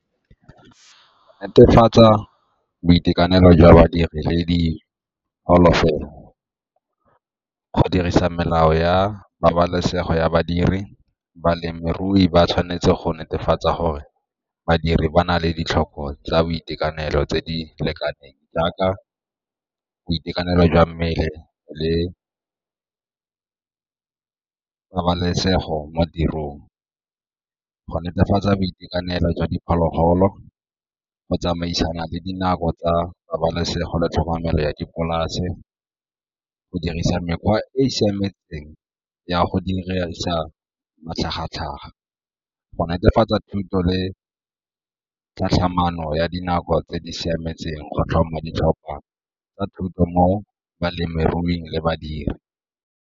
Netefatsa boitekanelo jwa badiri le di . Go dirisa melao ya pabalesego ya badiri, balemirui ba tshwanetse go netefatsa gore badiri ba na le ditlhoko tsa boitekanelo tse di lekaneng jaaka boitekanelo jwa mmele le pabalesego mo tirong, go netefatsa boitekanelo jwa diphologolo, go tsamaisana le dinako tsa pabalesego le tlhokomelo ya dipolase, go dirisa mekgwa e e siametseng ya go dirisa matlhagatlhaga, go netefatsa thuto le tsa ya dinako tse di siametseng go tlhoma ditlhopha tsa thuto mo balemiruing le badiri.